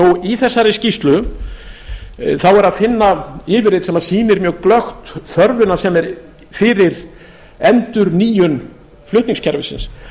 í þessari skýrslu þá er að finna yfirlit sem sýnir mjög glöggt þörfina sem er fyrir endurnýjun flutningskerfisins